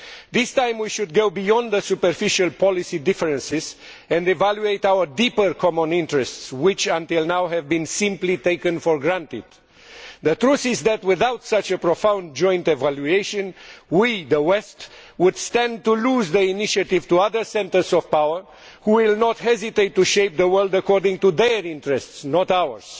This time we should go beyond superficial policy differences and evaluate our deeper common interests which, until now, have simply been taken for granted. The truth is that, without such a profound joint evaluation, we in the West could lose the initiative to other centres of power, who will not hesitate to shape the world according to their interests not ours.